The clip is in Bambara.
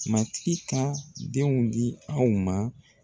Matigi ka denw di anw ma